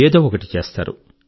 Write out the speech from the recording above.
ఏదో ఒకటి చేస్తారు